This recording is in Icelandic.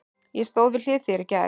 Ég stóð við hlið þér í gær.